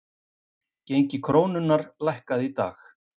Gengi krónunnar lækkaði í dag